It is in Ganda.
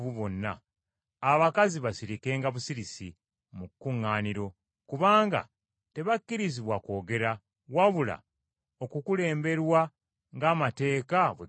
abakazi basirikenga busirisi mu kuŋŋaaniro, kubanga tebakkirizibwa kwogera, wabula okukulemberwa ng’amateeka bwe gagamba.